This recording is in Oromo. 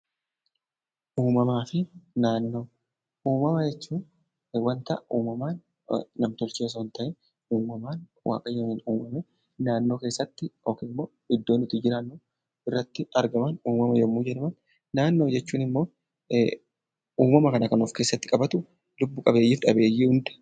Uummama jechuun namaan kan hin tolfamne uummamuuman yookiin waaqaan uummamaan yoo ta'u naannoo jechuun immoo bakka uummamni Kun keessaa jiraatu jechuudha.